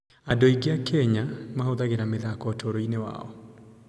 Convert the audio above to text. Andũ aingĩ a Kenya mahũthagĩra mĩthako ũtũũro-inĩ wao.